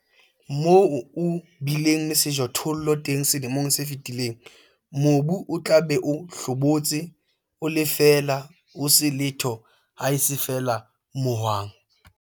Moo o bileng le sejothollo teng selemong se fetileng, mobu o tla be o hlobotse, o le feela, ho se letho haese feela mohwang.